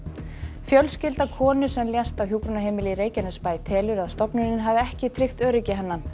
fjölskylda konu sem lést á hjúkrunarheimili í Reykjanesbæ telur að stofnunin hafi ekki tryggt öryggi hennar